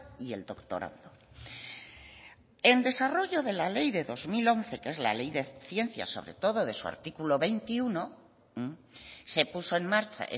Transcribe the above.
y el doctorando en desarrollo de la ley del dos mil once que es la ley de ciencias sobre todo de su artículo veintiuno se puso en marcha